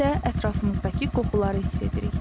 Həm də ətrafımızdakı qoxuları hiss edirik.